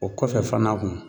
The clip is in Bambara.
O kɔfɛ fana kun